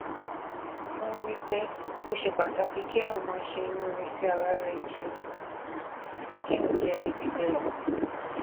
n rí i pé ó ṣe pàtàkì kéèyàn máa ṣe inúure sí ara rè ju um kéèyàn jé ẹni pípé lọ